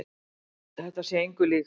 Þetta sé engu líkt.